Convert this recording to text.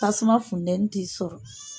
Tasuma fundɛnni te sɔrɔ